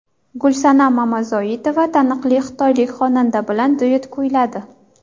Gulsanam Mamazoitova taniqli xitoylik xonanda bilan duet kuyladi.